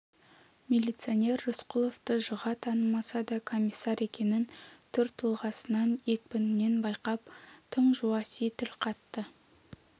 милиционер рысқұловты жыға танымаса да комиссар екенін түр-тұлғасынан екпінінен байқап тым жуаси тіл қатты